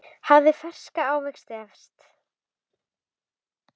Hafið ferska ávexti efst.